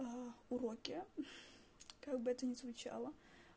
уроки как бы это ни звучало